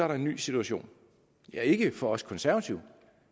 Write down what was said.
der en ny situation ja ikke for os konservative